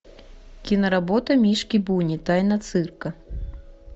киноработа мишки буни тайна цирка